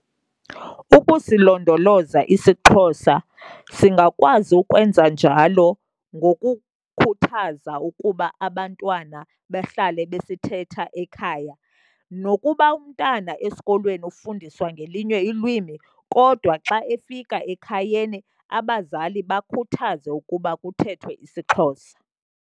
Ukusilondoloza isiXhosa, singakwazi ukwenza njalo ngokukhuthaza ukuba abantwana bahlale basithetha ekhaya. Nokuba umntana esikolweni ufundiswa ngelinye ilwimi, kodwa xa efika ekhayeni abazali bakhuthaze ukuba kuthethwe isiXhosa.